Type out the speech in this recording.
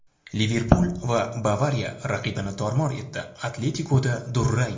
"Liverpul" va "Bavariya" raqibini tor-mor etdi, "Atletiko"da durang.